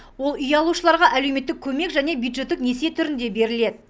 ол үй алушыларға әлеуметтік көмек және бюджеттік несие түрінде беріледі